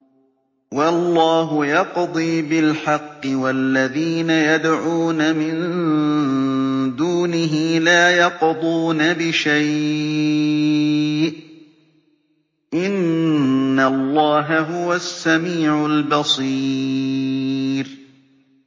وَاللَّهُ يَقْضِي بِالْحَقِّ ۖ وَالَّذِينَ يَدْعُونَ مِن دُونِهِ لَا يَقْضُونَ بِشَيْءٍ ۗ إِنَّ اللَّهَ هُوَ السَّمِيعُ الْبَصِيرُ